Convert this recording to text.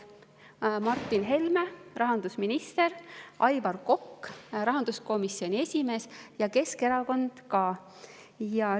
Martin Helme oli rahandusminister, Aivar Kokk oli rahanduskomisjoni esimees, ja Keskerakond oli ka.